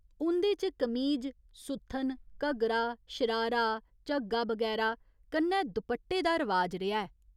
उं'दे च कमीज, सुत्थन, घग्घरा, शरारा, झग्गा बगैरा कन्नै दुपट्टे दा रवाज रेहा ऐ।